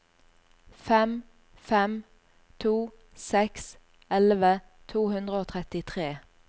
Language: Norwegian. fem fem to seks elleve to hundre og trettitre